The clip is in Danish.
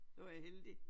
Det var da heldigt